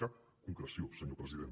cap concreció senyor president